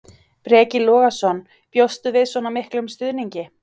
Breki Logason: Bjóstu við svona miklum stuðningi?